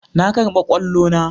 Na karba kwallo na.